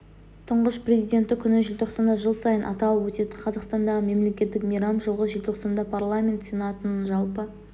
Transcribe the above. тұңғыш президенті күні желтоқсанда жыл сайын аталып өтетін қазақстандағы мемлекеттік мейрам жылғы желтоқсанда парламент сенатының жалпы